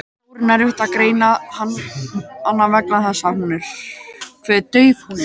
Hún er stór en erfitt er að greina hana vegna þess hve dauf hún er.